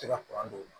Tɛ ka don o la